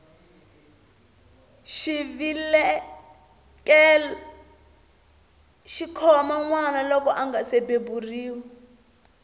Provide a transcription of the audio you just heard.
xivelekelo xikhoma nwana loko angasi beburiwa